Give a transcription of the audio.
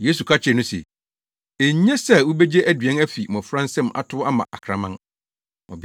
Yesu ka kyerɛɛ no se, “Enye sɛ wobegye aduan afi mmofra nsam atow ama akraman.”